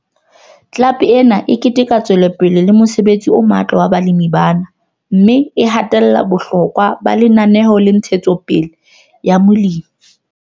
Club ena e keteka tswelopele le mosebetsi o matla wa balemi bana, mme e hatella bohlokwa ba Lenaneo la Ntshetsopele ya Molemi.